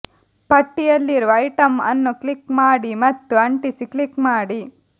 ಪಟ್ಟಿಯಲ್ಲಿರುವ ಐಟಂ ಅನ್ನು ಕ್ಲಿಕ್ ಮಾಡಿ ಮತ್ತು ಅಂಟಿಸಿ ಕ್ಲಿಕ್ ಮಾಡಿ